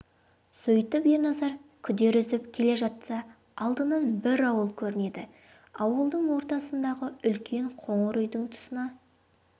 сөйтіп ерназар күдер үзіп келе жатса алдынан бір ауыл көрінеді ауылдың ортасындағы үлкен қоңыр үйдің тұсына